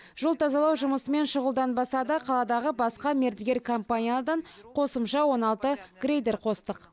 жол тазалау жұмысымен шұғылданбаса да қаладағы басқа мердігер компаниялардан қосымша он алты грейдер қостық